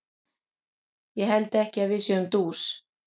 Ég held ekki að við séum dús.